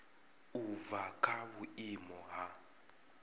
u bva kha vhuimo ha